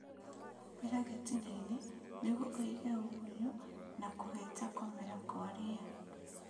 Humbĩra gĩtinainĩ nĩguo ũige ũgunyu na kũhita kũmera gwa ria